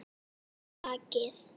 Hann hallaði sér á bakið.